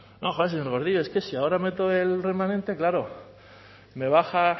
no joe señor gordillo es que si ahora meto el remanente claro me baja